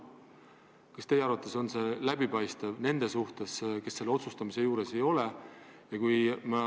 Kas teie arvates on see läbipaistev nende suhtes, kes otsustamise juures ei ole?